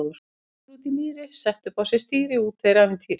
Köttur úti í mýri, setti upp á sig stýri, úti er ævintýri!